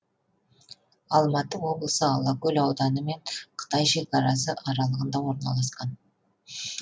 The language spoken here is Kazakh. алматы облысы алакөл ауданы мен қытай шекарасы аралығында орналасқан